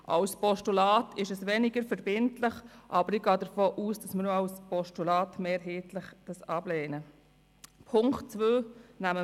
Als Postulat wäre er zwar weniger verbindlich, aber ich gehe davon aus, dass wir diesen auch als Postulat mehrheitlich ablehnen werden.